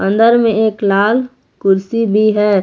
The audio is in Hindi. अंदर में एक लाल कुर्सी भी है।